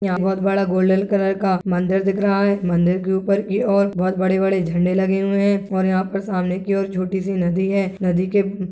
यहाँ बड़ा golden colour का मंदिर दिख रहा है मंदिर की ऊपर की ओर बहोत बड़े- बड़े झंडे लगे हुए हैं और यहाँ पर सामने की ओर छोटी- सी नदी है नदी के--